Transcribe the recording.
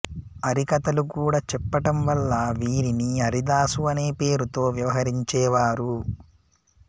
హరికథలు కూడా చెప్పటం వల్ల వీరిని హరిదాసు అనే పేరుతో వ్యవహరించేవారు